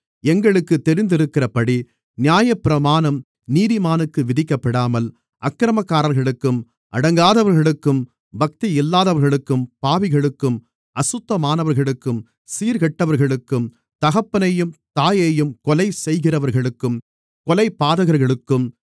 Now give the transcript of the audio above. எங்களுக்குத் தெரிந்திருக்கிறபடி நியாயப்பிரமாணம் நீதிமானுக்கு விதிக்கப்படாமல் அக்கிரமக்காரர்களுக்கும் அடங்காதவர்களுக்கும் பக்தியில்லாதவர்களுக்கும் பாவிகளுக்கும் அசுத்தமானவர்களுக்கும் சீர்கெட்டவர்களுக்கும் தகப்பனையும் தாயையும் கொலை செய்கிறவர்களுக்கும் கொலைபாதகர்களுக்கும்